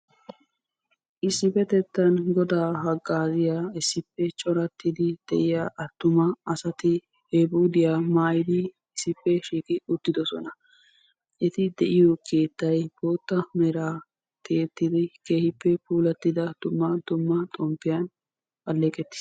Issippetettan Goda haggaaziya issippe corattidi de'iyaa cora attuma asati epuudiyaa maayyidi issippe shiiqi uttidoosona. Eti de'iyo keettay boottaa meraa tiyyettidi keehippe puulattida dumma dumma xomppiyan alleeqetiis.